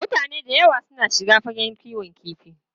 Mutane da yawa suna shiga fagen kiwon kifi.